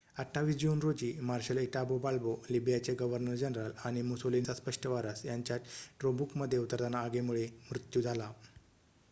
28 June रोजी marshal Italo Balbo लिबियाचे governor general आणि मुसोलिनीचा स्पष्ट वारस यांचा टोब्रुकमध्ये उतरताना आगीमुळे मृत्यू झाला